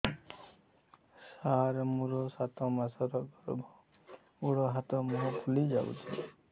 ସାର ମୋର ସାତ ମାସର ଗର୍ଭ ଗୋଡ଼ ହାତ ମୁହଁ ଫୁଲି ଯାଉଛି